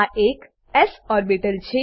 આ એક S orbital છે